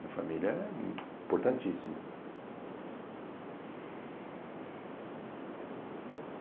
Minha família é importantíssima.